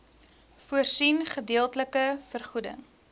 voorsien gedeeltelike vergoeding